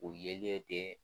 O yelen tɛ.